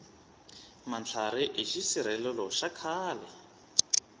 matlhari i xisirhelelo xa khale